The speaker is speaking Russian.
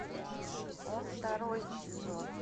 он второй сезон